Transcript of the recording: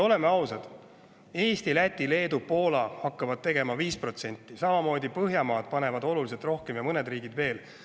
Oleme ausad, Eesti, Läti, Leedu ja Poola hakkavad 5%, samamoodi panevad Põhjamaad ja mõned riigid veel oluliselt rohkem.